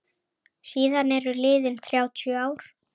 Síðan eru liðin þrjátíu ár.